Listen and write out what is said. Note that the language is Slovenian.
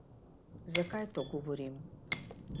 Zakaj to govorim?